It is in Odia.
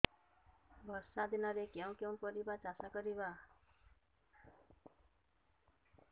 ବର୍ଷା ଦିନରେ କେଉଁ କେଉଁ ପରିବା ଚାଷ କରିବା